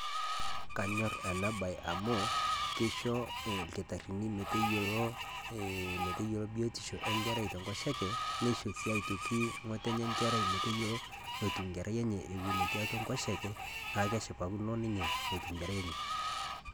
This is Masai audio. Kaanyor ana baayi amu keisho lkitarini meteyielo, meteyielo biotisho e nkerrai te nkosheke. Neishoo sii aitoki ng'otenye nkerrai meteiyelo natuu nkerrai enye wueni etii atua nkosheke. Naa keshipakino ninye natuu nkerrai enye.